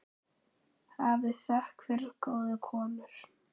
Hafið þökk fyrir góðu konur.